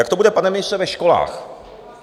Jak to bude, pane ministře, ve školách?